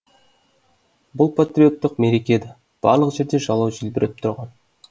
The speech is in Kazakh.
бұл патриоттық мереке еді барлық жерде жалау желбіреп тұрған